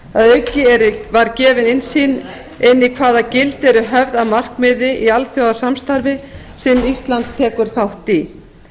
að auki var gefin innsýn inn í það hvaða gildi eru höfð að markmiði í alþjóðasamstarfi sem ísland tekur þátt í